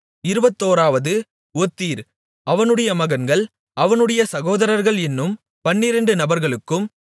இருபத்தோராவது ஒத்திர் அவனுடைய மகன்கள் அவனுடைய சகோதரர்கள் என்னும் பன்னிரெண்டு நபர்களுக்கும்